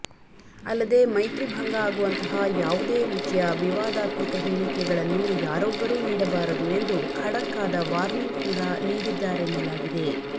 ಅಲ್ಲದೆ ಮೈತ್ರಿಭಂಗ ಆಗುವಂತಹ ಯಾವುದೇ ರೀತಿಯ ವಿವಾದಾತ್ಮಕ ಹೇಳಿಕೆಗಳನ್ನು ಯಾರೊಬ್ಬರೂ ನೀಡಬಾರದು ಎಂದು ಖಡಕ್ಕಾದ ವಾರ್ನಿಂಗ್ ಕೂಡಾ ನೀಡಿದ್ದಾರೆನ್ನಲಾಗಿದೆ